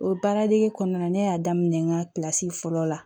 O baara dege kɔnɔna na ne y'a daminɛ n ka kilasi fɔlɔ la